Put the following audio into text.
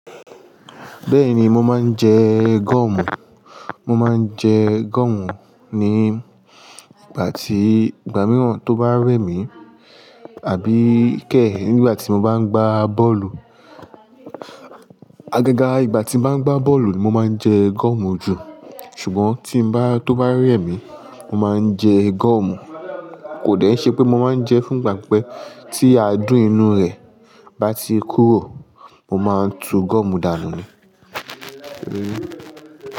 Bẹ́ẹ̀ni mo máa ń jẹ gọ́omù. Mo máa ń jẹ gọ́omù ní ìgbà tí, ìgbà mìí wa tó bá rẹ̀ mí, àbí kẹ́ nígbà tí mo bá ń gbá bọ́ọ̀lù. Agaga igbà tí n bá ń gbá bọ́ọ̀lù ni mo máa ń jẹ gọ́omù jù. Ṣùgbọ́n tí n bá, tó bá rẹ̀ mí, mo máa ń jẹ gọ́omù. Kò dẹ̀ n ṣé pé mo máa ń jẹ fún ìgbà pipẹ́ tí aadùn inú rẹ̀ bá ti kúrò, mo máa n tú goọ́mù dànù ní.